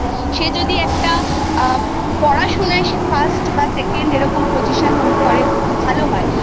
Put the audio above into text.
সে যদি একটা আ পড়াশোনায় First বা Second এরকম Position Hold করে ভালো হয়